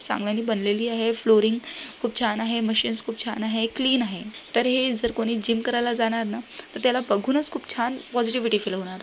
चांगली बनलेली आहे फ्लोरीन खूप छन आहे मशीनस खूप छन आहे क्लीन आहे तर हे जर कोणी जिम करायला जाणार ना त्याला भगुनच खूप छान पॉज़िटिव फ़िल होणार.